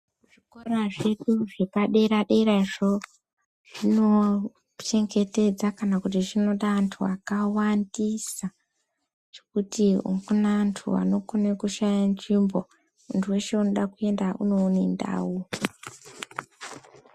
Zvikora zvedu zvepadera-derazvo zvinochengetedza kana kuti zvinoda antu akawandisa zvokuti hakuna antu anokone kushaya nzvimbo. Muntu weshe unoda kuenda unoone ndau.